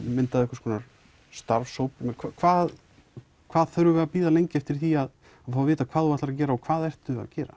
myndað starfshóp hvað hvað þurfum við að bíða lengi eftir því að vita hvað þú ætlar að gera og hvað ertu að gera